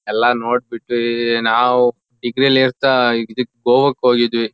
ಎಲ್ಲಾ ನೋಡ್ ಬಿಟ್ವೀ ನಾವು ಡಿಗ್ರಿ ಲಿ ಇರ್ತಾ ಇದಕ್ಕ್ ಗೋವಾಕ್ ಹೋಗಿದ್ವಿ.